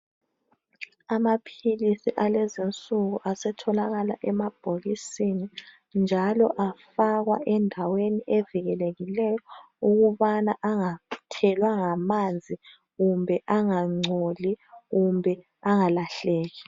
Amaphilisi alezi insuku asetholakala emabhokisi njalo afakwa endaweni evikelekileyo ukubana angathelwa ngamanzi kumbe angagcoli kumbe angalahleki